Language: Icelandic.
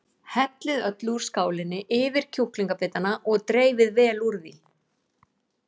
Hellið öllu úr skálinni yfir kjúklingabitana og dreifið vel úr því.